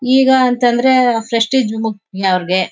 ಈಗ ಅಂತಂದ್ರೆ ಪ್ರೆಸ್ಟೀಜ್ ಮುಖ್ಯಾ ಅವರಿಗೆ.